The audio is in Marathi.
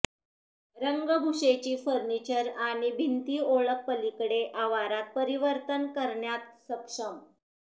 रंगभूषेची फर्निचर आणि भिंती ओळख पलीकडे आवारात परिवर्तन करण्यात सक्षम